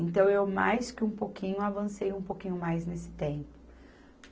Então, eu, mais que um pouquinho, avancei um pouquinho mais nesse tempo.